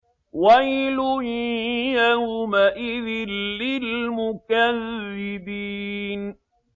وَيْلٌ يَوْمَئِذٍ لِّلْمُكَذِّبِينَ